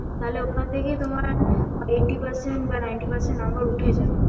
তালে ওখান থেকে তোমার eighty percent বা ninety percent number উঠে যাবে